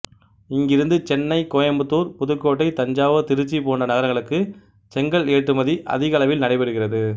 இங்கிருந்து சென்னை கோயம்புத்தூர் புதுக்கோட்டை தஞ்சாவூர் திருச்சி போன்ற நகரங்களுக்கு செங்கல் ஏற்றுமதி அதிக அளவில் நடைபெறுகிறது